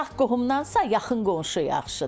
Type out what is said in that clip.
Uzaq qohumdansa, yaxın qonşu yaxşıdır.